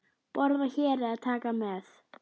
Borða hér eða taka með?